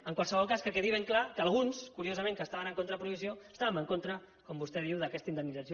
en qualsevol cas que quedi ben clar que alguns curiosament que estaven en contra de la prohibició estàvem en contra com vostè diu d’aquesta indemnització